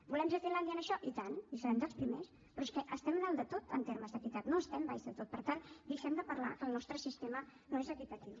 volem ser finlàndia en això i tant i serem dels primers però és que estem a dalt de tot en termes d’equitat no estem a baix de tot per tant deixem de parlar que el nostre sistema no és equitatiu